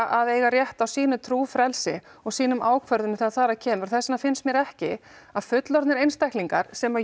að eiga rétt á sínu trúfrelsi og sínum ákvörðunum þegar þar að kemur og þess vegna finnst mér ekki að fullorðnir einstaklingar sem